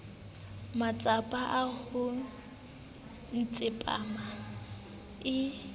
matsapa a ho ntshampa eo